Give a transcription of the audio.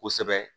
Kosɛbɛ